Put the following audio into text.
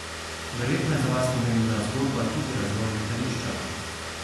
Verjetno je za vas pomembna zgodba tudi razvoj letališča?